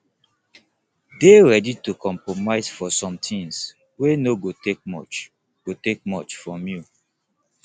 de ready to compromise for something wey no go take much go take much from you